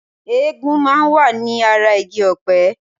Ẹ̀gún máa ń wà ní ara igi ọpẹ